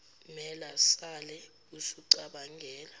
mela sale usucabangela